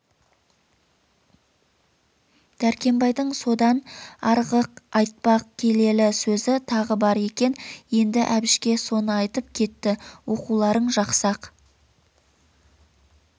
дәркембайдың содан арғы айтпақ келелі сөзі тағы бар екен енді әбішке соны айтып кетті оқуларың жақсы-ақ